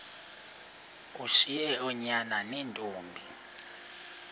ushiye oonyana neentombi